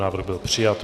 Návrh byl přijat.